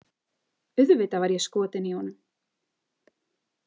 Auðvitað var ég skotin í honum